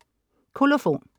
Kolofon